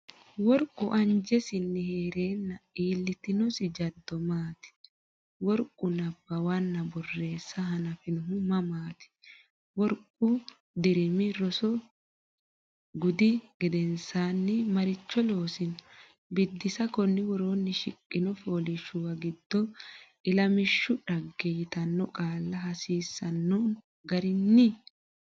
Worqu anjesinni hee’reenna iillitinosi jaddo maati? Worqu nabbawanna borreessa hanafinohu mamaati? Worqu dirimi roso gudi gedensaanni maricho loosino? Biddissa Konni woroonni shiqqino fooliishshuwa giddo Ilamishshu dhagge yitanno qaalla hasiisanno garinni?